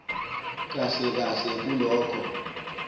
kahle kahle kulokho